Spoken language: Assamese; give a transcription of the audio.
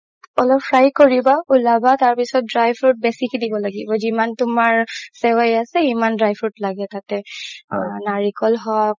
অলপ fry কৰিবা উলাবা তাৰ পাছত dry fruit বেচিকে দিব লাগিব জিমান তুমাৰ চেৱাই আছে সিমান dry fruit লাগে তাতে নাৰিকল হওক